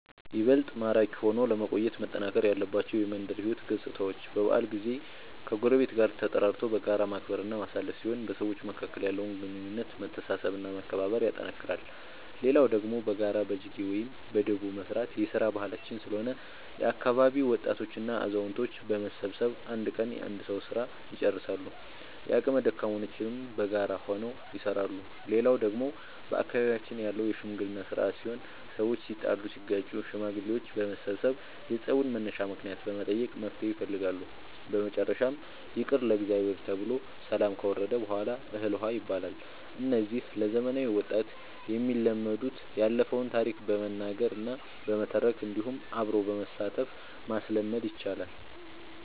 ይበልጥ ማራኪ ሆኖ ለመቆየት መጠናከር ያለባቸው የመንደር ሕይወት ገፅታዎች በበዓል ጊዜ ከጎረቤት ጋር ተጠራርቶ በጋራ ማክበር እና ማሳለፍ ሲሆን በሰዎች መካከል ያለውን ግንኙነት መተሳሰብ እና መከባበር ያጠነክራል። ሌላው ደግሞ በጋራ በጅጌ ወይም በዳቦ መስራት የስራ ባህላችን ስለሆነ የአካባቢ ወጣቶች እና አዛውቶች በመሰብሰብ አንድ ቀን የአንድ ሰዉ ስራ ልጨርሳሉ። የአቅመ ደካሞችንም በጋራ ሆነው ይሰራሉ። ሌላው ደግሞ በአካባቢያችን ያለው የሽምግልና ስርአት ሲሆን ሰዎች ሲጣሉ ሲጋጩ ሽማግሌዎች በመሰብሰብ የፀቡን መነሻ ምክንያት በመጠየቅ መፍትሔ ይፈልጋሉ። በመጨረሻም ይቅር ለእግዚአብሔር ተብሎ ሰላም ከወረደ በሗላ እህል ውሃ ይባላል። እነዚህ ለዘመናዊ ወጣት የሚለመዱት ያለፈውን ታሪክ በመናገር እና በመተረክ እንዲሁም አብሮ በማሳተፍ ማስለመድ ይቻላል።